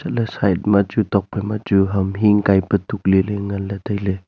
chatley side machu tokphai machu ham hing kaipa tuk leley nganley tailey.